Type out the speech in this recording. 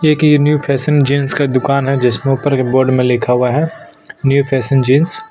एक ये new fashion jeans का दुकान है जिसमें ऊपर की बोर्ड में लिखा हुआ है न्यू फैशन जीन्स --